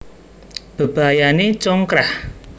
Bebayané congkrah